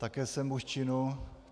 Také jsem muž činu.